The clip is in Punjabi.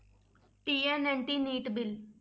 TN anti NEET bill